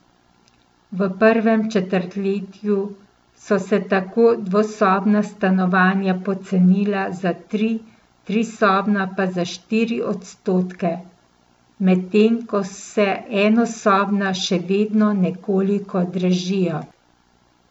V prvem četrtljetju so se tako dvosobna stanovanja pocenila za tri, trisobna pa za štiri odstotke, medtem ko se enosobna še vedno nekoliko dražijo.